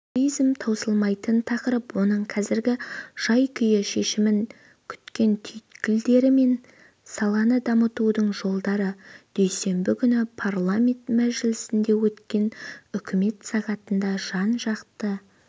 туризм таусылмайтын тақырып оның қазіргі жай-күйі шешімін күткен түйткілдері мен саланы дамытудың жолдары дүйсенбі күні парламент мәжілісінде өткен үкімет сағатында жан-жақты